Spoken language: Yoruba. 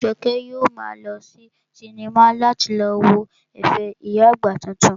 Bẹ́ẹ̀ni, Jọkẹ́ yóò maa lọ sí sinimá láti lọ wo ẹ̀fẹ̀ ìyá àgbà titun